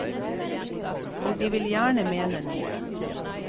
Og de vil gjerne mene noe.